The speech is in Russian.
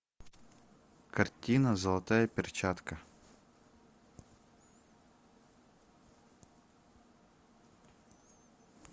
картина золотая перчатка